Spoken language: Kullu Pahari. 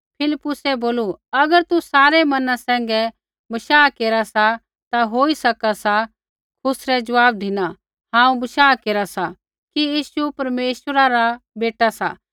फिलिप्पुसै बोलू अगर तू सारै मना सैंघै बशाह केरा सा ता होई सका सा खुसरै ज़वाब धिना हांऊँ बशाह केरा सा कि यीशु परमेश्वर रा बेटा सा